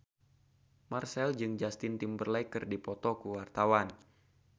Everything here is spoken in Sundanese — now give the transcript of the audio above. Marchell jeung Justin Timberlake keur dipoto ku wartawan